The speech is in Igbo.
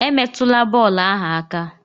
Emetụla bọọlụ ahụ aka!